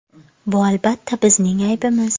Bu, albatta, bizning aybimiz.